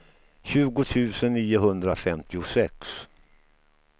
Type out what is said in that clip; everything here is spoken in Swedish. tjugo tusen niohundrafemtiosex